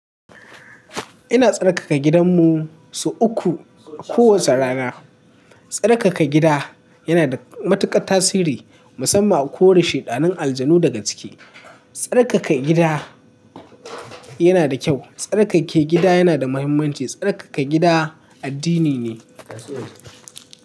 Ina tsarkaka gidanmu sau uku kowace rana. Tsarkaka gida yana da matuƙar tasiri musamman a kore sheɗanun aljanu daga ciki. Tsarkaka gida yana da kyau. Tsarkake gida yana da muhimmanci. Tsarkaka gida addini ne.